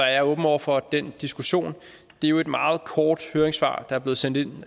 jeg åben over for den diskussion det er jo et meget kort høringssvar der er blevet sendt ind